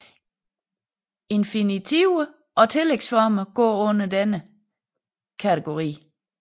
Infinitiver og tillægsformer går under denne kategori